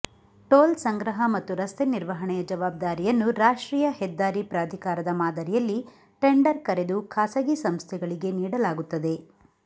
toll ಸಂಗ್ರಹ ಮತ್ತು ರಸ್ತೆ ನಿರ್ವಹಣೆಯ ಜವಾಬ್ದಾರಿಯನ್ನು ರಾಷ್ಟ್ರೀಯ ಹೆದ್ದಾರಿ ಪ್ರಾಧಿಕಾರದ ಮಾದರಿಯಲ್ಲಿ ಟೆಂಡರ್ ಕರೆದು ಖಾಸಗಿ ಸಂಸ್ಥೆಗಳಿಗೆ ನೀಡಲಾಗುತ್ತದೆ